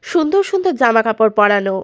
সুন্দর সুন্দর জামা কাপড় পরানো।